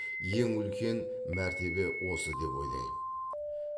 ең үлкен мәртебе осы деп ойлаймын